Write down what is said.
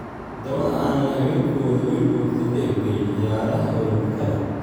“Waddamada aanay haweenkoodu waligood ka qaybgelin ciyaaraha Olombikada.